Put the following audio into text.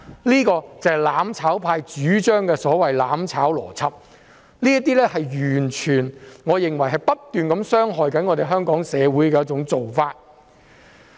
這便是"攬炒派"主張的"攬炒"邏輯，我認為這完全是不斷傷害香港社會的做法。